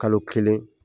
Kalo kelen